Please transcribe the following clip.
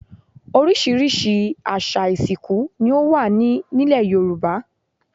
Oríṣiríṣi àṣà ìsìnkú ni o wa nilẹ̀ Yoruba